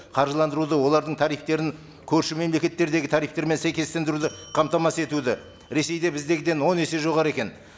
қаржыландыруды олардың тарифтерін көрші мемлекеттердегі тарифтермен сәйкестендіруді қамтамасыз етуді ресейде біздегіден он есе жоғары екен